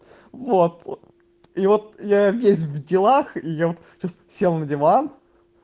вот и вот я весь в делах я сел на диван